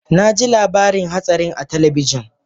Na ji labarin hatsarin a talabijin